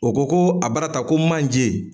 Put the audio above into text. O ko ko abarata ko manje.